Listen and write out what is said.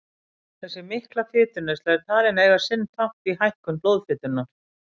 Þessi mikla fituneysla er talin eiga sinn þátt í hækkun blóðfitunnar.